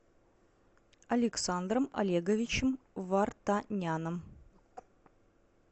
александром олеговичем вартаняном